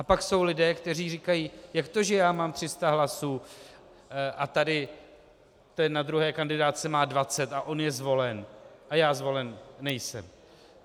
A pak jsou lidé, kteří říkají: Jak to že já mám 300 hlasů a tady ten na druhé kandidátce má 20 a on je zvolen a já zvolen nejsem?